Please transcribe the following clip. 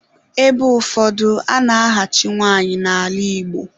Ebe ụfọdụ, a na-ahachi nwanyị n'ala Igbo.